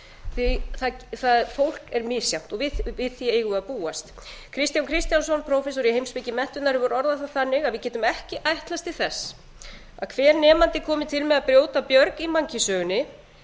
því að fólk er misjafnt og við því eigum við að búast kristján kristjánsson prófessor í heimspeki menntunar hefur orðað það þannig að við getum ekki ætlast til þess að að hver nemandi komi til með að brjóta björg í mannkynssögunni